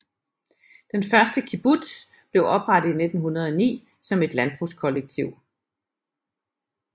Den første kibbutz blev oprettet i 1909 som et landbrugskollektiv